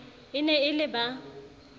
e ne e le ba